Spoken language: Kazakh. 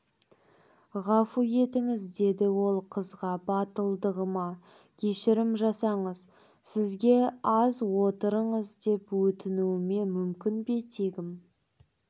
ғафу етіңіз деді ол қызға батылдығыма кешірім жасаңыз сізге аз отырыңыз деп өтінуіме мүмкін бе тегім